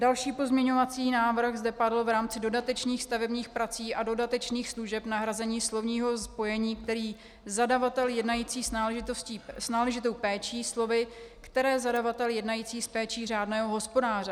Další pozměňovací návrh zde padl v rámci dodatečných stavebních prací a dodatečných služeb, nahrazení slovního spojení "který zadavatel jednající s náležitou péčí" slovy "které zadavatel jednající s péčí řádného hospodáře".